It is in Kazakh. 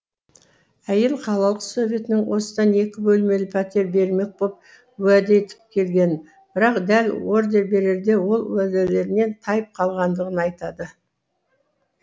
әйел қалалық советтің осыдан екі бөлмелі пәтер бермек боп уәде етіп келгенін бірақ дәл ордер берерде ол уәделерінен тайып қалғандығын айтады